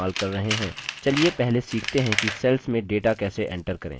चलिए पहले सीखते हैं कि cells में data कैसे enter करें